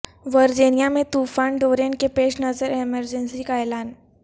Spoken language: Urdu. ورجینیا میں طوفان ڈورین کے پیش نظر ایمرجنسی کا اعلان